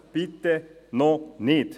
Bitte noch nicht!